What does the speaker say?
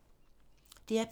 DR P3